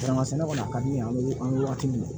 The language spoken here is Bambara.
Kɛmɛ kɔni ka di ye an bɛ an bɛ wagati min na